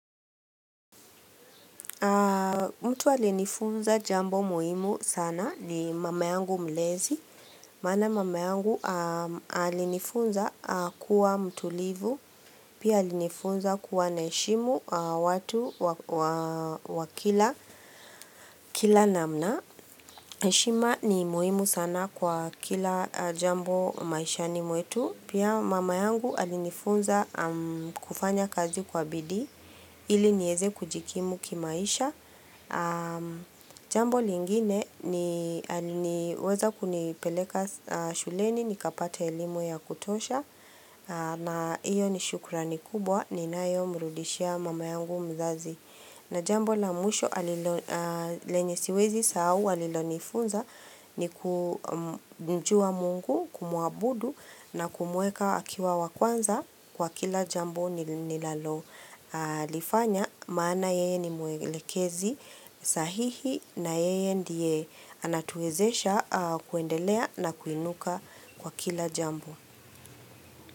Mtu alinifunza jambo muhimu sana ni mama yangu mlezi, maana mama yangu alinifunza kuwa mtulivu, pia alinifunza kuwa naheshimu watu wa kila namna. HeShima ni muhimu sana kwa kila jambo maishani mwetu Pia mama yangu alinifunza kufanya kazi kwa bidi ili nieze kujikimu kimaisha Jambo lingine ni aliweza kunipeleka shuleni Nikapate elimu ya kutosha na hiyo ni shukrani kubwa Ninayomrudishia mama yangu mzazi na jambo la mwisho lenye siwezi sahau hu alilonifunza ni kumjua mungu kumuabudu na kumuweka akiwa wa kwanza kwa kila jambu ninalalolifanya. Maana yeye ni mwelekezi sahihi na yeye ndiye anatuwezesha kuendelea na kuinuka kwa kila jambo.